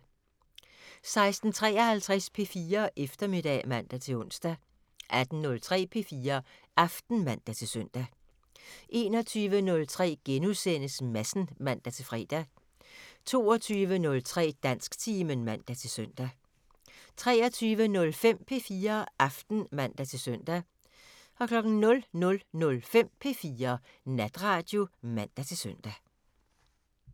16:53: P4 Eftermiddag (man-ons) 18:03: P4 Aften (man-søn) 21:03: Madsen *(man-fre) 22:03: Dansktimen (man-søn) 23:05: P4 Aften (man-søn) 00:05: P4 Natradio (man-søn)